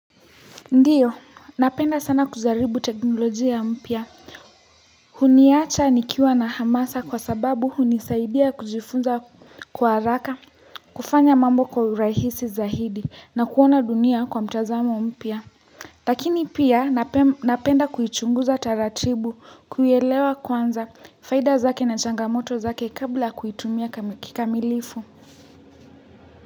Ndiyo, napenda sana kujaribu teknolojia mpya. Huniacha nikiwa na hamasa kwa sababu hunisaidia kujifunza kwa haraka, kufanya mambo kwa urahisi zaidi na kuona dunia kwa mtazamo mpya. Lakini pia napenda kuichunguza taratibu, kuielewa kwanza faida zake na changamoto zake kabla ya kuitumia kamilifu.